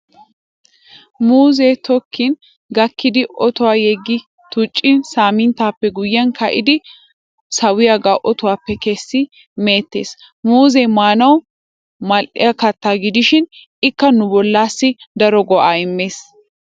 Muuzzee tokkin gakkidi otuwan yeggi tuccin saaminttappe guyyiyan ka'idi sawiyaagaa otuwaappe kessin meetettes. Muuzzee maanawu Mal"iya katta gidishin ikka nu bollassi daro go"aa immes.